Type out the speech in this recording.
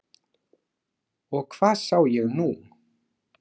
Og hvað sá ég nú.